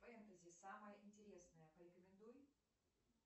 фэнтези самое интересное порекомендуй